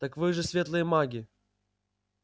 так вы же светлые маги